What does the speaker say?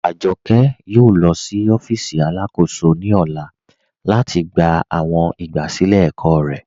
Ajọkẹ yóò lọ sí ọfíìsì alákóṣò ní ọlá lati gbà awọn igbásílẹ̀ ẹ̀kọ̀ rẹ.